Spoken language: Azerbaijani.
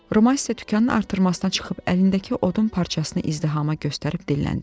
Romas isə dükanın artırmasına çıxıb əlindəki odun parçasını izdihama göstərib dilləndi: